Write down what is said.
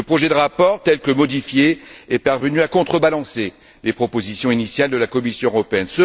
Le projet de rapport, tel que modifié, est parvenu à contrebalancer les propositions initiales de la Commission européenne.